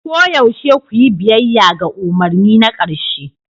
Koyaushe ku yi biyayya ga umarni na ƙarshe